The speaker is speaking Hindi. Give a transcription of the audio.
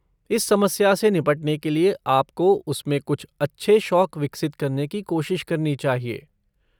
इस समस्या से निपटने के लिए आपको उसमें कुछ अच्छे शौक विकसित करने की कोशिश करनी चाहिए।